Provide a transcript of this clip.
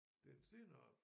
Det er en stenart